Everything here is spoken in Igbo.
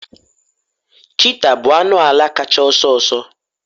cheetah bụ anụ ala kacha ọsọ ọsọ